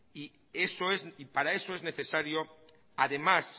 y para eso es necesario además